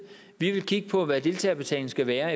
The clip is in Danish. vi vil kigge på hvad deltagerbetalingen skal være